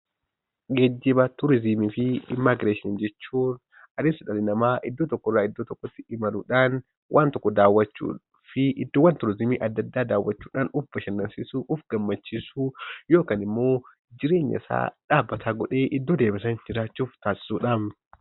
Geejjiba turiisimii fi immigireeshiin jechuun anis, dhalli nama iddoo tokko irraa iddoo tokkotti imaluudhan wan tokko daawwachuu fi iddoowwaan turiisimii addaa, addaa dawwachuudhan of-bashannansiisuu, of-gammachiisuu yookaan immoo, jireenya isa dhabbata godhe iddoo deeme sana jiraachudha.